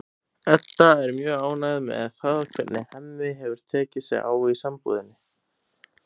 Edda er mjög ánægð með það hvernig Hemmi hefur tekið sig á í sambúðinni.